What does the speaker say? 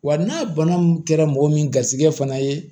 Wa n'a bana mun kɛra mɔgɔ min garisigɛ fana ye